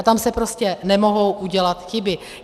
A tam se prostě nemohou udělat chyby.